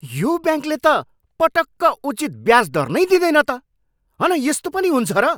यो ब्याङ्कले त पटक्क उचित ब्याज दर नै दिँदैन त! हन यस्तो पनि हुन्छ र?